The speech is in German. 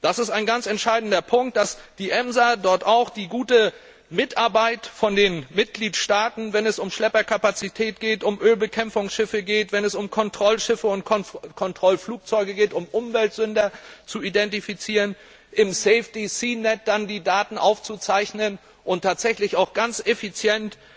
Es ist ein ganz entscheidender Punkt, dass die EMSA dort auch die gute Mitarbeit von den Mitgliedstaaten bekommt, wenn es um Schlepperkapazität geht, um Ölbekämpfungsschiffe, um Kontrollschiffe und Kontrollflugzeuge, um Umweltsünder zu identifizieren, im SafeSeaNet dann die Daten aufzuzeichnen und tatsächlich ganz effizient